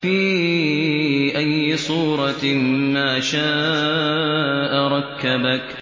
فِي أَيِّ صُورَةٍ مَّا شَاءَ رَكَّبَكَ